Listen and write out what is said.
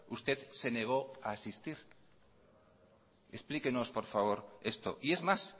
usted se negó a asistir explíquenos por favor esto y es más